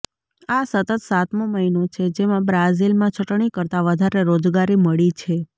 આ સતત સાતમો મહિનો છે જેમાં બ્રાઝિલમાં છટણી કરતા વધારે રોજગારી મળી છે